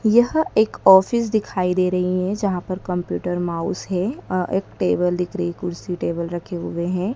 यह एक ऑफिस दिखाई दे रही है। जहां पर कंप्यूटर माउस हैं। एक टेबल दिख रही हैं कुर्सी टेबल रखे हुए है।